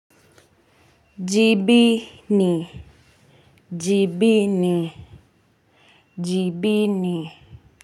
Jibini. Jibini. Jibini.